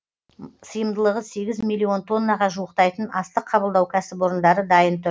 сыйымдылығы сегіз миллион тоннаға жуықтайтын астық қабылдау кәсіпорындары дайын тұр